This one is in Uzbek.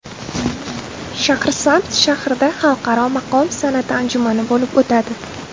Shahrisabz shahrida Xalqaro maqom san’ati anjumani bo‘lib o‘tadi.